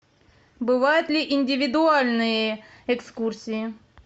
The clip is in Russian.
бывают ли индивидуальные экскурсии